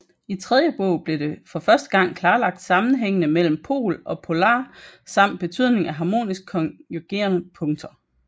I tredje bog blev for første gang klarlagt sammenhængene mellem pol og polare samt betydningen af harmonisk konjugerede punkter